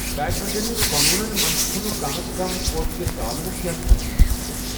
بیڈمنٹٕکۍ قونوٗنن منٛز چُھنہٕ کم از کم کورٹٕکہ تالوُک یا تھزرچ ذِکر۔